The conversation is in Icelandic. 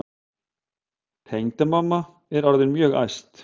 Tengdamamma er orðin mjög æst.